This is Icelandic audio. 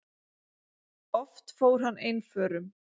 Oft fór hann einförum.